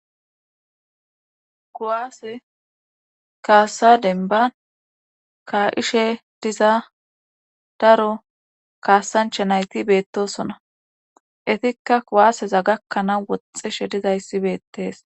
kuwaase kaasa denban ka7ishe diza daro kaasancha nayti beettosona etikka kuwaaseza gakkanaa woxxishe dizayssi beettees